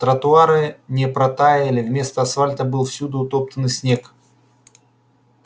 тротуары не протаяли вместо асфальта был всюду утоптанный снег